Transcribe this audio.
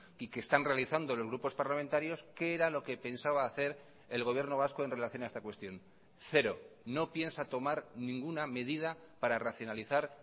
y que están realizando los grupos parlamentarios qué era lo que pensaba hacer el gobierno vasco en relación a esta cuestión cero no piensa tomar ninguna medida para racionalizar